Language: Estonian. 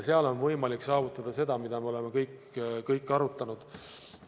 Seal on võimalik saavutada seda, mida me kõik oleme arutanud.